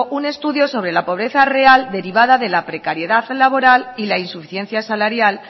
un estudio sobre la pobreza real derivada de la precariedad laboral y la insuficiencia salarial